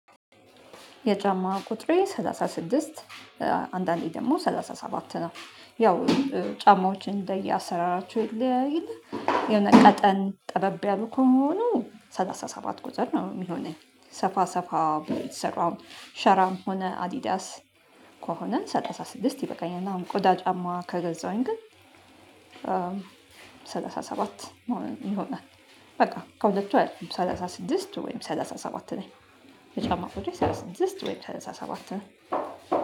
የጫማ ቁጥሬ ሰላሳ ስድስት አንዳንዴ ደግሞ ሰላሳ ሰባት ነው። ያው ጫማዎችን እንደየአሰራራቸው ይለያያል። የሆነ ቀጠን ጠበብ ያሉ ከሆነ ሰላሳ ሰባት ቁጥር ነው የሚሆነኝ ሰፋ ሰፋ ብለህ የተሰሩ አሁን ሸራም ሆነ አዲዳስ ከሆነ ሰላሳ ስድስት ይበቃኛል። እና አሁን ቆዳ ጫማ ከገዛሁኝ ግን ሰላሳ ሰባት መሆን ይሆናል። በቃ ከሁለቱ አያልፍም ሰላሳ ስድስት ወይም ሰላሳ ሰባት ነኝ። የ ጫማ ቁጥሬ ሰላሳ ስድስት ወይም ሰላሳሰባት ነው።